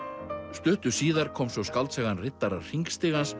stuttu síðar kom svo skáldsagan riddarar